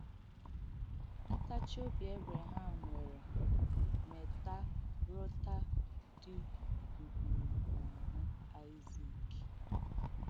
Ntàchi obi Ébreham nwērē métàrụ́tà dī ūgbùrù n’āhụ́ Aịzik.